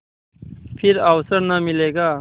फिर अवसर न मिलेगा